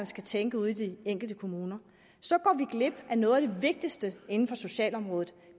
skal tænke ude i de enkelte kommuner så går vi glip af noget af det vigtigste inden for socialområdet